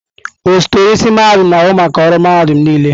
Osote onye isi mahadum na-ahụ maka ọrụ mahadum niile.